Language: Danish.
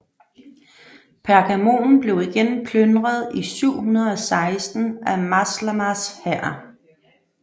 Pergamon blev igen plyndret i 716 af Maslamas hær